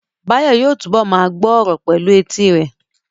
Báyọ̀ yóò túbọ̀ ma gbọ́ ọ̀rọ̀ pẹ̀lú etí rẹ̀